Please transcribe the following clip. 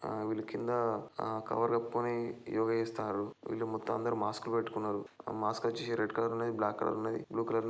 ఆ వీలు కింద ఆ కవర్ కప్పుకొని యోగ చేస్తున్నారు .వీళ్ళు మొత్తం అందరూ మాస్క్ పెట్టుకున్నారు. ఆ మాస్క్ వచ్చేసి రెడ్ కలర్ ఉంది .బ్లాక్ కలర్ ఉంది బ్లూ కలర్--